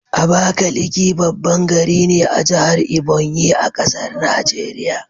Abakaliki baban gari ne a jahar Ebonyi,a ƙasar Nigeria